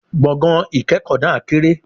Gbọ̀gán-ìkẹ́kọ náà kéré